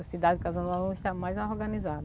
A cidade de Casa Nova hoje está mais organizada.